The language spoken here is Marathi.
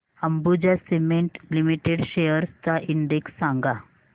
अंबुजा सीमेंट लिमिटेड शेअर्स चा इंडेक्स सांगा